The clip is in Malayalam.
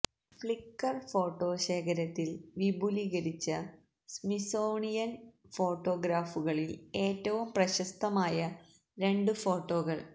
ഫ്ലിക്കർ ഫോട്ടോ ശേഖരത്തിൽ വിപുലീകരിച്ച സ്മിത്സോണിയൻ ഫോട്ടോഗ്രാഫുകളിൽ ഏറ്റവും പ്രശസ്തമായ രണ്ട് ഫോട്ടോകൾ